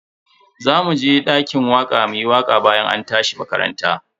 Zamu je dakin waka muyi waka bayan an tashi makaranta.